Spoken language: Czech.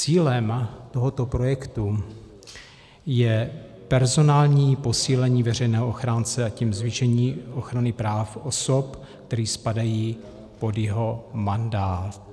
Cílem tohoto projektu je personální posílení veřejného ochránce, a tím zvýšení ochrany práv osob, které spadají pod jeho mandát.